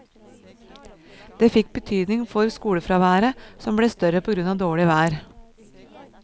Det fikk betydning for skolefraværet, som ble større på grunn av dårlig vær.